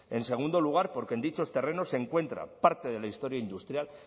en segundo lugar porque en dichos terrenos se encuentra parte de la historia industrial